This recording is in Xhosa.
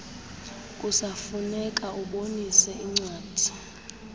kusafuneka ubonise incwadi